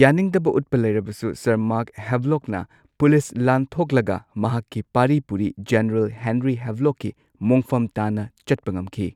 ꯌꯥꯅꯤꯡꯗꯕ ꯎꯠꯄ ꯂꯩꯔꯕꯁꯨ, ꯁꯔ ꯃꯥꯔꯛ ꯍꯦꯚ꯭ꯂꯣꯛꯀꯤ ꯄꯨꯂꯤꯁ ꯂꯥꯟꯊꯣꯛꯂꯒ ꯃꯍꯥꯛꯀꯤ ꯄꯥꯔꯤ ꯄꯨꯔꯤ ꯖꯦꯅꯔꯦꯜ ꯍꯦꯟꯔꯤ ꯍꯦꯚꯂꯣꯛꯀꯤ ꯃꯣꯡꯐꯝ ꯇꯥꯟꯅ ꯆꯠꯄ ꯉꯝꯈꯤ꯫